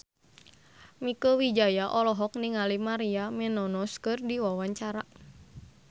Mieke Wijaya olohok ningali Maria Menounos keur diwawancara